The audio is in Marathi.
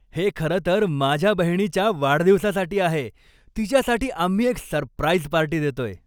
हे खरं तर माझ्या बहिणीच्या वाढदिवसासाठी आहे. तिच्यासाठी आम्ही एक सरप्राईज पार्टी देतोय.